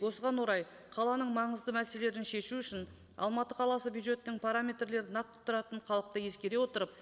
осыған орай қаланың маңызды мәселелерін шешу үшін алматы қаласы бюджеттің параметрлері нақты тұратын халықты ескере отырып